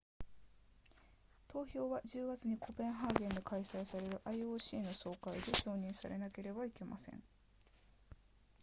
投票は10月にコペンハーゲンで開催される ioc の総会で承認されなければなりません